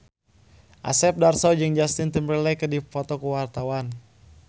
Asep Darso jeung Justin Timberlake keur dipoto ku wartawan